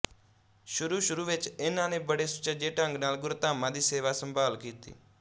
ਸ਼ੁਰੂ ਸ਼ੁਰੂ ਵਿੱਚ ਇਨ੍ਹਾਂ ਨੇ ਬੜੇ ਸੁਚੱਜੇ ਢੰਗ ਨਾਲ ਗੁਰਧਾਮਾਂ ਦੀ ਸੇਵਾਸੰਭਾਲ ਕੀਤੀ